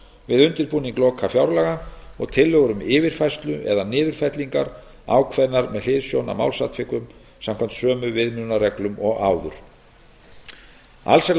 undirbúning lokafjárlaga og tillögur um yfirfærslu eða niðurfellingu ákveðnar með hliðsjón af málsatvikum samkvæmt sömu viðmiðunarreglum og áður alls er